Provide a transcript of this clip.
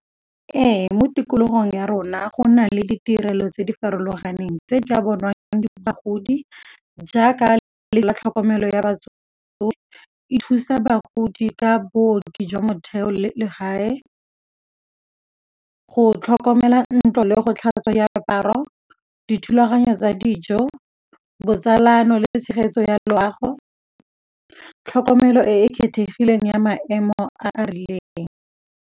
Ee, mo tikologong ya rona go na le ditirelo tse di farologaneng tse di ka bonwang ke bagodi jaaka le tlhokomelo ya batsofe e thusa bagodi ka booki jwa motheo le legae, go tlhokomela ntlo le go tlhatswa ya diaparo, dithulaganyo tsa dijo, botsalano le tshegetso ya loago, tlhokomelo e e kgethegileng ya maemo a a rileng.